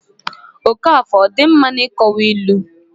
okafor ọ dị mma n'ịkowa ilu?